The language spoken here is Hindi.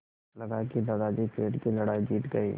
लगा कि दादाजी पेड़ की लड़ाई जीत गए